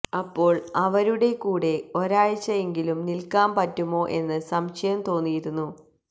അപ്പോൾ അവരുടെ കൂടെ ഒരാഴ്ച എങ്കിലും നിൽക്കാൻ പറ്റുമോ എന്ന് സംശയം തോന്നിയിരുന്നു